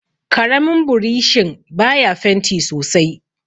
karamin burishin baya fenti sosai